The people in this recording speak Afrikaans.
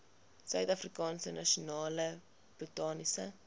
suidafrikaanse nasionale botaniese